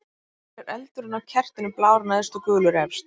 Af hverju er eldurinn á kertinu blár neðst og gulur efst?